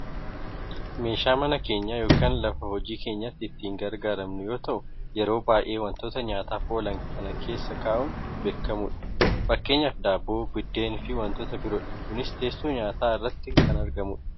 meeshaa mana keenya yookaan lafa hojii keenyaatti itti gargaarramnu yoo ta'u yeroo baayyee wantoota nyaataaf oolan kan keessa kaa'uun beekkamudha. fakkeenyaaf daabboo, biddeen fi wantoota biroodha. kunis teessoo nyaataa irratti kan argamudha.